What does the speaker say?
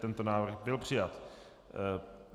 Tento návrh byl přijat.